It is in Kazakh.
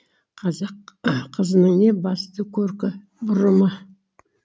қазақ қызының ең басты көркі бұрымы